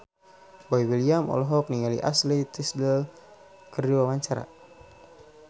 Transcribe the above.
Boy William olohok ningali Ashley Tisdale keur diwawancara